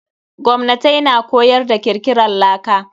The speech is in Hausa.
Gwamnatai na koyar da kirkiran laka.